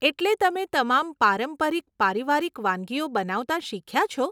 એટલે તમે તમામ પારંપરિક પારિવારિક વાનગીઓ બનાવતાં શીખ્યા છો?